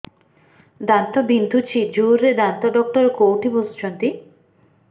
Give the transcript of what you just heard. ଦାନ୍ତ ବିନ୍ଧୁଛି ଜୋରରେ ଦାନ୍ତ ଡକ୍ଟର କୋଉଠି ବସୁଛନ୍ତି